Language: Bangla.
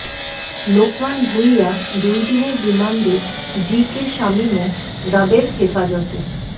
লোকমান ভূঁইয়া দুই দিনের রিমান্ডে জি কে শামীমও র্যাবের হেফাজতে